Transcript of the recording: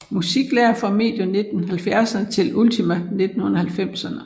Musiklærer fra medio 1970erne til ultimo 1990erne